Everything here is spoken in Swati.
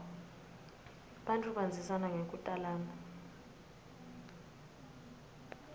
bantfu bandzisana ngekutalana